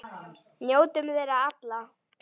Njótum þeirra allra.